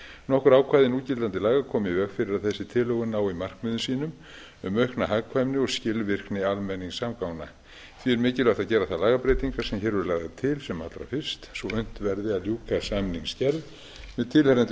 nokkur ákvæði núgildandi laga komu í veg fyrir að þessi tilhögun nái markmiðum sínum um aukna hagkvæmni og skilvirkni almenningssamgangna því er mikilvægt að gera þær lagabreytingar sem hér eru lagðar til sem allra fyrst svo unnt verði að ljúka samningsgerð með tilheyrandi